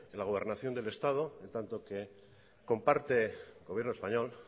la gobernación del estado en tanto que comparte el gobierno español